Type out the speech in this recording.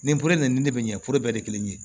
Nin poro nin de bɛ ɲɛforo bɛɛ de ye kelen ye